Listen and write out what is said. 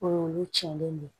Olu tiɲɛnen don